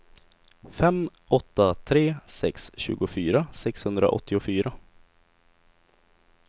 fem åtta tre sex tjugofyra sexhundraåttiofyra